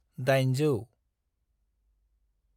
800